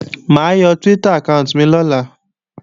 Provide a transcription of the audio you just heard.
Mà á yọ Twitter àkáànti mi lọ́la